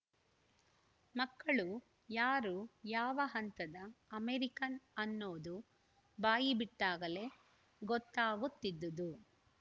ಮಕ್ಕಳು ಯಾರು ಯಾವ ಹಂತದ ಅಮೇರಿಕನ್‌ ಅನ್ನೋದು ಬಾಯಿ ಬಿಟ್ಟಾಗಲೇ ಗೊತ್ತಾಗುತ್ತಿದ್ದುದು